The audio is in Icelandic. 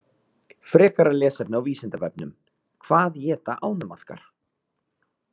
Frekara lesefni á Vísindavefnum: Hvað éta ánamaðkar?